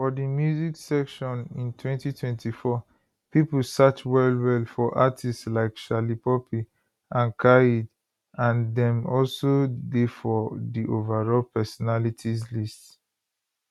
for di music section in 2024 pipo search wellwell for artistes like shallipopi and khaid and dem also dey for di overall personalities list